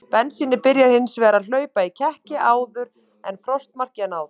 Bensínið byrjar hins vegar að hlaupa í kekki áður en frostmarki er náð.